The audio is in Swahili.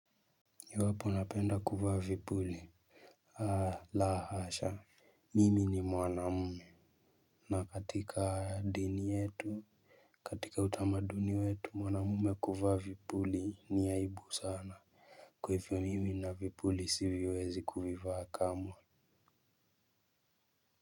Iwapo napenda kuvaa vipuli la hasha. Mimi ni mwanamume na katika dini yetu katika utamaduni wetu mwanamume kuvaa vipuli ni aibu sana. Kwa hivyo mimi na vipuli siviwezi kuvivaa kamwe.